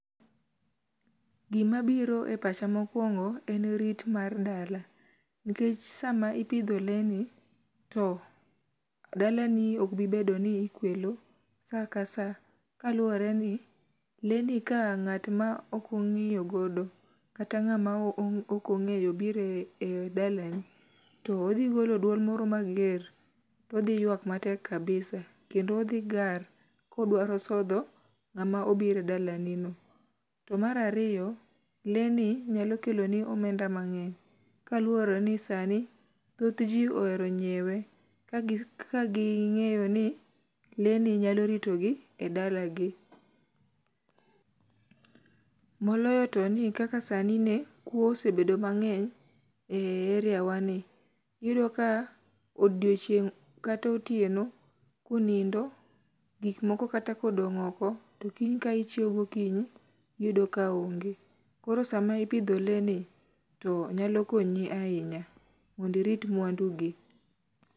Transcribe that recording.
Gimabiro e pacha mokwongo en rit mar dala nkech sama iopidho lee ni to dalani okbibedo ni ikwelo sa ka sa kaluwore ni lee ni ka ng'at ma okong'iyogodo kata ng'ama okong'eyo biro e dalani to odhigolo duol moro mager to odhiyuak matek kabisa kendo odhigar kodwaro sodho ng'ama obiro e dalani no. To mar ariyo, lee ni nyalo keloni omenda mang'eny kaluwore ni sani thothj ji ohero nyiewe kaging'eyo ni lee ni nyalo ritogi e dalagi, moloyo to ni kaka sani ne kuo osebedo mang'eny e eriawani. Iyudo ka odiochieng' kata otieno kunindo gikmoko kata kodong' oko to kiny ka ichiew gokinyi iyudo ka onge. Koro sama ipidho lee ni to nyalo konyi ahinya mondo irit mwandugi.